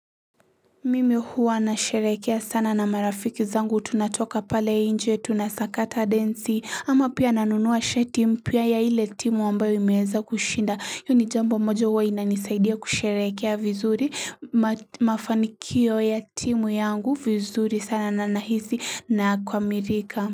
Mimi huwa anasherehekea sana na marafiki zangu tunatoka pale nje tunasakata densi ama pia nanunua shati mpya ya ile timu ambayo imeweza kushinda hiyo ni jambo mojo huwa inanisaidia kusherekea vizuri mafanikio ya timu yangu vizuri sana na nahisi nakamilika.